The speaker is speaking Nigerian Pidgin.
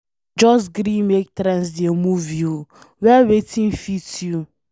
No just gree make trends dey move you, wear wetin fit you.